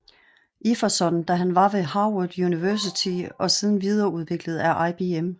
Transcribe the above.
Iverson da han var ved Harvard University og siden videreudviklet af IBM